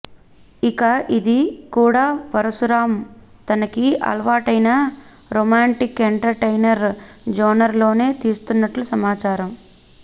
ఇక ఇది కూడా పరశురాం తనకి అలవాటైన రొమాంటిక్ ఎంటర్టైనర్ జోనర్ లోనే తీస్తున్నట్లు సమాచారం